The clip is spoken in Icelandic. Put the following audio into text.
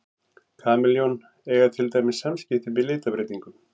Kameljón eiga til dæmis samskipti með litabreytingum.